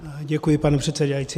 Děkuji, pane předsedající.